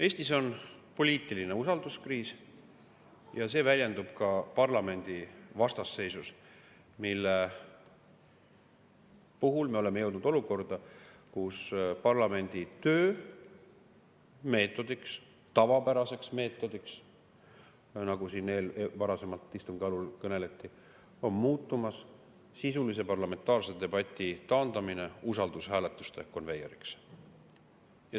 Eestis on poliitiline usalduskriis ja see väljendub ka parlamendi vastasseisus, mille puhul me oleme jõudnud olukorda, kus parlamendi töö meetodiks – tavapäraseks meetodiks, nagu siin istungi algul kõneleti – on muutumas sisulise parlamentaarse debati taandamine usaldushääletuste konveieriks.